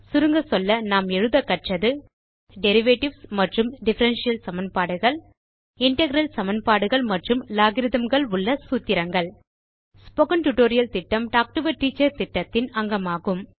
சுருங்கச்சொல்ல நாம் எழுதக்கற்றது டெரிவேட்டிவ்ஸ் மற்றும் டிஃபரன்ஷியல் சமன்பாடுகள் இன்டெக்ரல் சமன்பாடுகள் மற்றும் Logarithmகள் உள்ள சூத்திரங்கள் ஸ்போக்கன் டியூட்டோரியல் திட்டம் டால்க் டோ ஆ டீச்சர் திட்டத்தின் அங்கமாகும்